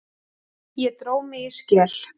Ég dró mig í skel.